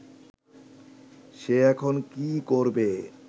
সে এখন কী করবে